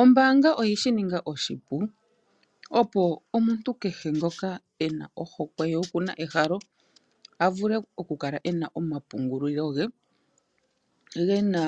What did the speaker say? Ombaanga oyeshi ninga oshipu opo omuntu kehe ngoka ena ohokwe ye okuna ehalo a vule oku kala ena omapungulilo ge gena